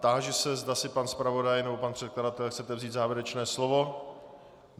Táži se, zda si pan zpravodaj nebo pan předkladatel chtějí vzít závěrečné slovo.